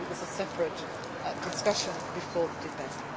It was a separate discussion before the debate.